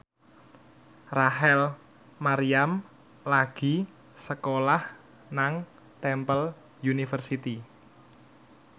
Rachel Maryam lagi sekolah nang Temple University